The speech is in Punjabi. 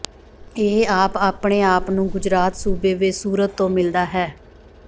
ਇਹ ਆਪ ਆਪਣੇ ਆਪ ਨੂੰ ਗੁਜਰਾਤ ਸੂਬੇ ਵਿਚ ਸੂਰਤ ਤੋਂ ਮਿਲਦਾ ਹੈ